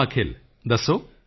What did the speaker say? ਹਾਂ ਅਖਿਲ ਦੱਸੋ